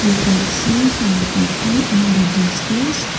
we can see some people in the distance.